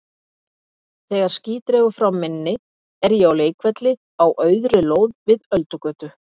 Þegar ský dregur frá minni er ég á leikvelli á auðri lóð við Öldugötu.